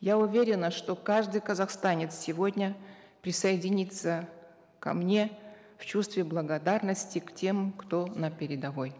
я уверена что каждый казахстанец сегодня присоединится ко мне в чувстве благодарности к тем кто на передовой